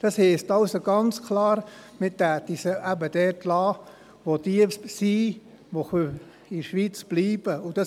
Das heisst also ganz klar, man würde sie eben dort lassen, wo jetzt diese sind, die in der Schweiz bleiben können.